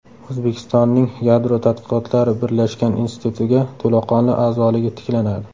O‘zbekistonning Yadro tadqiqotlari birlashgan institutiga to‘laqonli a’zoligi tiklanadi.